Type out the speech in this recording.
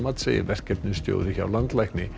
segir verkefnastjóri hjá landlækni